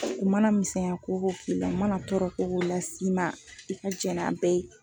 U mana misɛnya ko o ko k'i la u mana tɔɔrɔ ko o ko las'i ma i ka jɛn n'a bɛɛ ye.